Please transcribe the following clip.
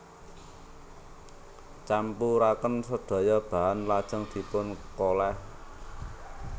Campuraken sedaya bahan lajeng dipun kolèh